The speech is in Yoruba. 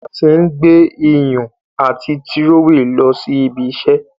A tí n gbé iyùn ati Tírówẹ̀ lọ sí ibiṣẹ́